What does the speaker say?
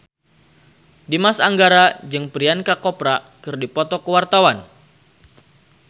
Dimas Anggara jeung Priyanka Chopra keur dipoto ku wartawan